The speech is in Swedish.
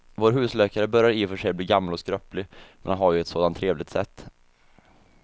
Vår husläkare börjar i och för sig bli gammal och skröplig, men han har ju ett sådant trevligt sätt!